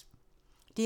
DR1